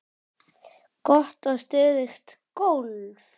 Gott og stöðugt golf!